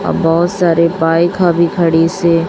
और बहुत सारे बाइका भी खड़ी से।